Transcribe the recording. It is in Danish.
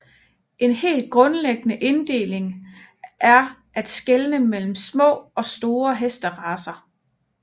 En helt grundlæggende inddeling er at skelne mellem små og store hesteracer